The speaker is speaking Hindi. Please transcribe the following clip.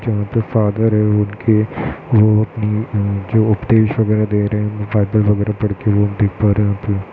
यहाँ पे फादर हैं वो उनके वो अपनी म जो उपदेश वगैरा दे रहे हैं बाइबल वगैरा पढ़के वो हम देख पा रहे हैं यहाँ पे।